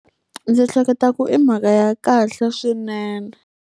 Ndzi hleketa ku i mhaka ya kahle swinene.